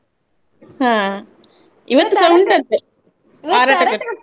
ಹಾ .